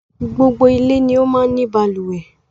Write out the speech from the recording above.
Gbogbo ilé ni ó máa ń ni balùwẹ́